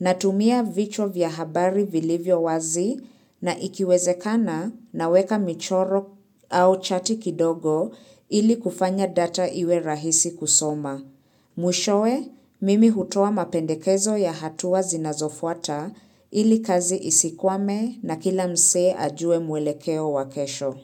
Natumia vichwa vya habari vilivyo wazi na ikiwezekana naweka michoro au chati kidogo ili kufanya data iwe rahisi kusoma. Mwishoe, mimi hutoa mapendekezo ya hatuwa zinazofuata ili kazi isikwame na kila mzee ajue mwelekeo wakesho.